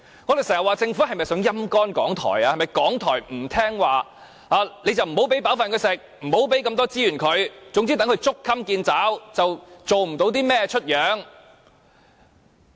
我們要問政府是否要"陰乾"港台，由於港台不聽話，所以便不給它吃飽，不提供資源，任其捉襟見肘，做不出甚麼來？